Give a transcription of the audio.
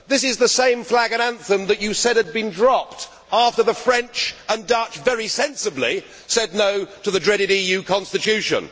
This is the same flag and anthem that you said had been dropped after the French and Dutch very sensibly said no' to the dreaded EU Constitution.